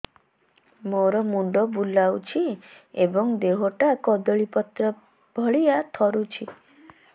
ମୋର ମୁଣ୍ଡ ବୁଲାଉଛି ଏବଂ ଦେହଟା କଦଳୀପତ୍ର ଭଳିଆ ଥରୁଛି